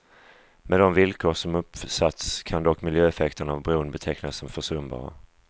Med de villkor som uppsatts kan dock miljöeffekterna av bron betecknas som försumbara.